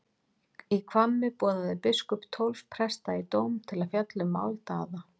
Í Hvammi boðaði biskup tólf presta í dóm til að fjalla um mál Daða.